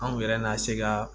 Anw yɛrɛ na se ka